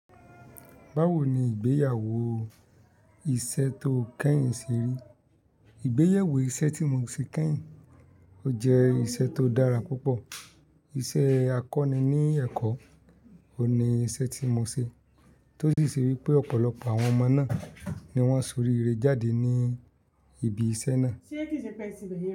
Báwo ni ìgbéyàwó iṣẹ́ tó kẹ́yìn ṣe rí? Ìgbéyàwó iṣẹ́ tí mo ṣe kẹ́yìn, ó jẹ́ iṣẹ́ tó dára púpọ̀. Iṣẹ́ akọni ní ẹ̀kọ́ ni iṣẹ́ tí mo ṣe, tó sì ṣe wípé ọ̀pọ̀lọpọ̀ àwọn ọmọ náà ni wọ́n ṣorí ire jáde ní ibi iṣẹ́ náà. Ṣé kí ṣe pẹ́ ti bẹyen?